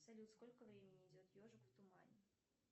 салют сколько времени идет ежик в тумане